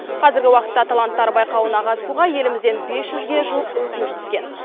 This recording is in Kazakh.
қазіргі уақытта таланттар байқауына қатысуға елімізден бес жүзге жуық өтініш түскен